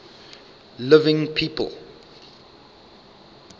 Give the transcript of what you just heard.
living people